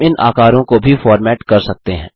हम इन आकारों को भी फॉर्मैट कर सकते हैं